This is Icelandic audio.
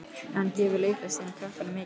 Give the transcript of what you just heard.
En gefur leiklistin krökkunum mikið?